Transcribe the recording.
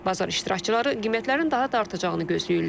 Bazar iştirakçıları qiymətlərin daha da artacağını gözləyirlər.